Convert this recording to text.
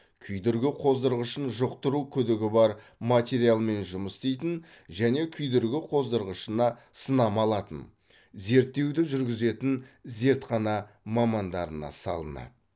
күйдіргі қоздырғышын жұқтыру күдігі бар материалмен жұмыс істейтін және күйдіргі қоздырғышына сынама алатын зерттеуді жүргізетін зертхана мамандарына салынады